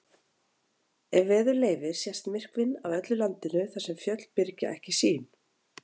Ef veður leyfir sést myrkvinn af öllu landinu þar sem fjöll byrgja ekki sýn.